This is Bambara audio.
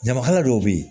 Ɲamakala dɔw bɛ yen